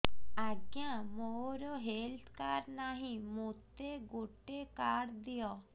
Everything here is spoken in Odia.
ଆଜ୍ଞା ମୋର ହେଲ୍ଥ କାର୍ଡ ନାହିଁ ମୋତେ ଗୋଟେ କାର୍ଡ ଦିଅ